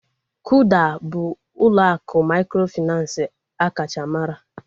Kuda bụ ụlọ akụ mikrofinansi akacha mara